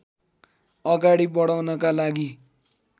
अगाडि बढाउनका लागि